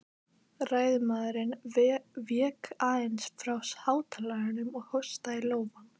Ræðumaðurinn vék aðeins frá hátalaranum og hóstaði í lófann.